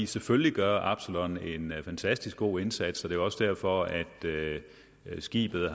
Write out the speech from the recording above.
selvfølgelig gør absalon en fantastisk god indsats er jo også derfor at skibet ad